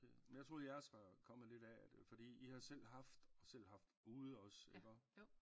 Men jeg troede jeres var kommet lidt af at fordi i har selv haft og selv haft ude ikke